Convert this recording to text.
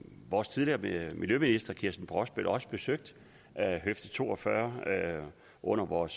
vores tidligere miljøminister kirsten brosbøl også besøgt høfde to og fyrre under vores